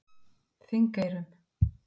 Þingeyrum